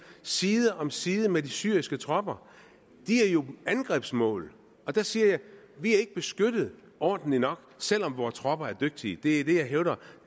side om side med de syriske tropper de er jo angrebsmål der siger jeg vi er ikke beskyttet ordentligt nok selv om vores tropper er dygtige det er det jeg hævder